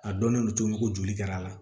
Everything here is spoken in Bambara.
A dɔnnen don cogo min ko joli kɛra a la